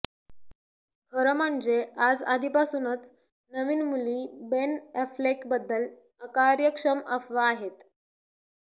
खरं म्हणजे आज आधीपासूनच नवीन मुली बेन ऍफ्लेक बद्दल अकार्यक्षम अफवा आहेत